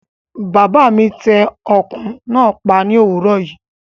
Bàbá mi tẹ ọkùn náà pa ní òwúrò yìí